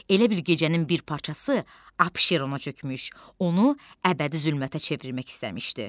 Elə bil gecənin bir parçası Abşerona çökmüş, onu əbədi zülmətə çevirmək istəmişdi.